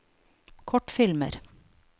kortfilmer